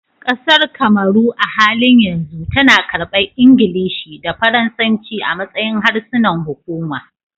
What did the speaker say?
Kasar Kamaru, a halin yanzu tana karbar Ingilishi da Faransanci a matsayin harsunan hukuma